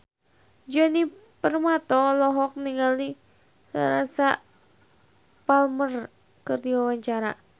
Djoni Permato olohok ningali Teresa Palmer keur diwawancara